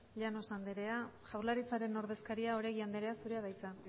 llanos andera jaurlaritzaren ordezkaria oregi andrea zurea da hitza